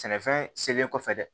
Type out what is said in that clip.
Sɛnɛfɛn selen kɔfɛ dɛ